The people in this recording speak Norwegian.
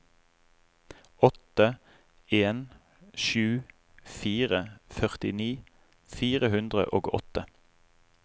åtte en sju fire førtini fire hundre og åtte